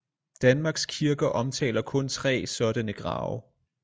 Danmarks kirker omtaler kun tre sådanne grave